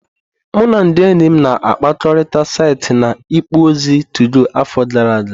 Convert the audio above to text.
Mụ na ndị enyi m na-akpakọrịta site na ikpo okwu ozi 2go afọ gara aga.